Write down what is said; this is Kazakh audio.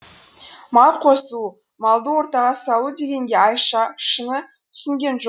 мал қосу малды ортаға салу дегенге айша шыны түсінген